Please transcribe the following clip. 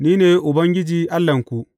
Ni ne Ubangiji Allahnku.